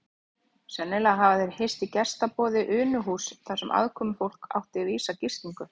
Sennilega hafa þeir hist í gestaboði Unuhúss þar sem aðkomufólk átti vísa gistingu.